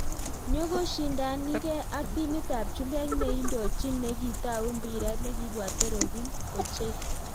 Nyokoshindanikee ak timit AP chumbek neindochin nekitau mpiret nekibwate robin kochei.